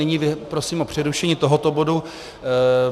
Nyní prosím o přerušení tohoto bodu.